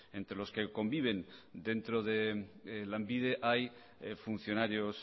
entre los que conviven dentro de lanbide hay funcionarios